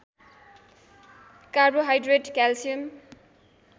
carbohydrate calcium